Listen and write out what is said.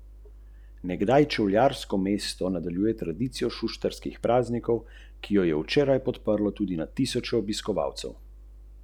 To je drugo tovrstno srečanje slovenskega političnega vrha glede arbitraže.